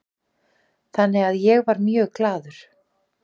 Þannig að ég var mjög glaður